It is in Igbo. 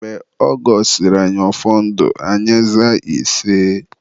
Mgbe ọ gọsịrị anyị ọfọ ndụ, anyị zaa iseeeeee